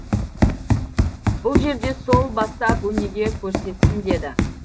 бұл жерде сол бастап өнеге көрсетсін деді